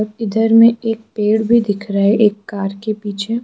इधर में एक पेड़ भी दिख रहा है एक कार के पीछे।